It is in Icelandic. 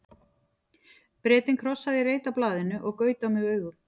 Bretinn krossaði í reit á blaðinu og gaut á mig augum.